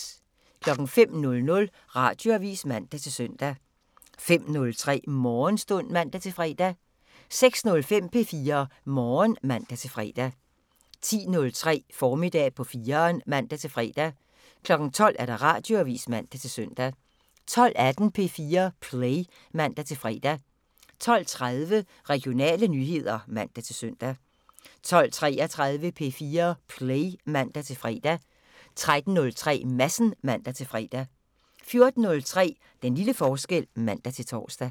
05:00: Radioavisen (man-søn) 05:03: Morgenstund (man-fre) 06:05: P4 Morgen (man-fre) 10:03: Formiddag på 4'eren (man-fre) 12:00: Radioavisen (man-søn) 12:18: P4 Play (man-fre) 12:30: Regionale nyheder (man-søn) 12:33: P4 Play (man-fre) 13:03: Madsen (man-fre) 14:03: Den lille forskel (man-tor)